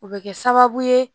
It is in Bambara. O bɛ kɛ sababu ye